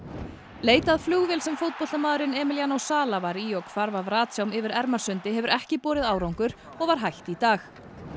leit að flugvél sem fótboltamaðurinn Emiliano sala var í og hvarf af yfir Ermarsundi hefur ekki borið árangur og var hætt í dag